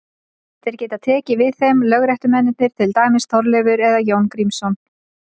Þeir geta tekið við þeim lögréttumennirnir, til dæmis Þorleifur eða Jón Grímsson.